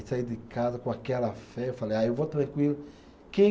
Saí de casa com aquela fé, falei, ah eu vou tranquilo. Quem